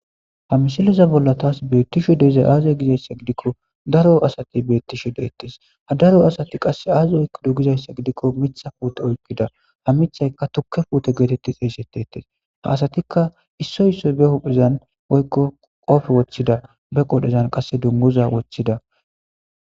ha mishiliza bolla taas beettisho deizay aaze gizayssa gidikko daro asati beettisho deettis ha daro asati qasse aazi oykko du gizayssa gidikko mitha puute oypida ha mithayka tukke puute geetetti xeeseteettes ha asatikka issoy issoy be huphezan oykko qofe wochchida be qodhezan qasse dunguza wochchida